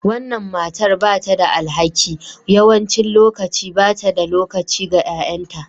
Wannan matar ba ta da alhaki. Yawancin lokaci ba ta da lokaci ga 'ya'yanta